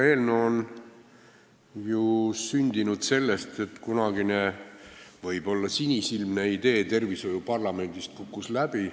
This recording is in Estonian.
See eelnõu on ju sündinud seetõttu, et kunagine võib-olla sinisilmne idee tervishoiuparlamendist kukkus läbi.